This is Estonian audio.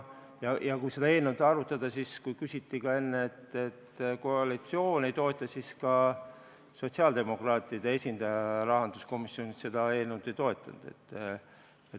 Siin mainiti ka enne, et koalitsioon seda ei toeta, ka sotsiaaldemokraatide esindaja rahanduskomisjonis seda eelnõu ei toetanud.